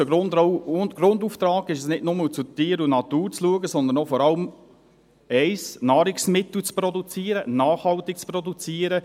Unser Grundauftrag ist nicht nur, zu Tier und Natur zu schauen, sondern vor allem auch eines: Nahrungsmittel zu produzieren, nachhaltig zu produzieren.